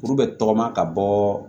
Kuru bɛ tɔgɔma ka bɔ